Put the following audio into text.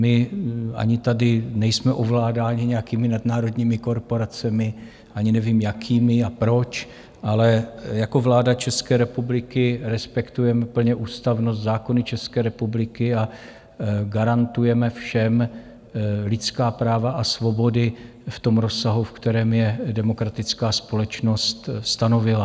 My ani tady nejsme ovládáni nějakými nadnárodními korporacemi, ani nevím, jakými a proč, ale jako vláda České republiky respektujeme plně ústavnost, zákony České republiky a garantujeme všem lidská práva a svobody v tom rozsahu, v kterém je demokratická společnost stanovila.